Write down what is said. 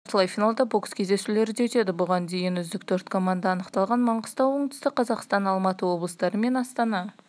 сонымен қатар жартылай финалда бокс кездесулері де өтеді бұған дейін үздік төрт команда анықталған маңғыстау оңтүстік қазақстан алматы облыстары мен астана